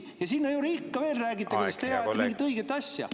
Ja sinna juurde ikka veel räägite, kuidas teie ajate mingit õiget asja.